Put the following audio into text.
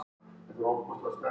Það virðist vera áætlun þeirra